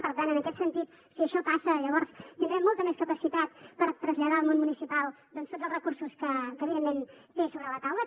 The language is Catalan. per tant en aquest sentit si això passa llavors tindrem molta més capacitat per traslladar al món municipal doncs tots els recursos que evidentment té sobre la taula